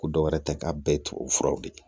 Ko dɔwɛrɛ tɛ k'a bɛɛ tubabu furaw de ye